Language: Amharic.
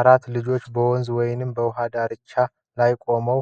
አራት ልጆች በወንዝ ወይም በውሃ አካል ዳርቻ ላይ ቆመው